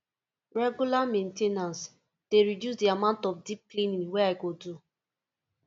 regular main ten ance dey reduce the amount of deep cleaning wey i go do